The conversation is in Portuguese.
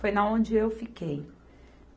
Foi na onde eu fiquei.